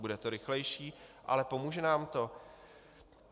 Bude to rychlejší, ale pomůže nám to?